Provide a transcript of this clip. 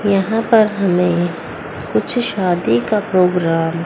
यहां पर हमें कुछ शादी का प्रोग्राम --